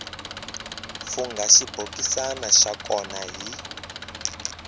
fungha xibokisana xa kona hi